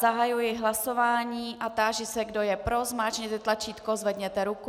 Zahajuji hlasování a táži se, kdo je pro, zmáčkněte tlačítko, zvedněte ruku.